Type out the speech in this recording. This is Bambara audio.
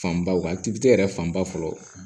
Fanba wa yɛrɛ fanba fɔlɔ